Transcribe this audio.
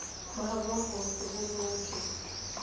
ba ba ho se boloke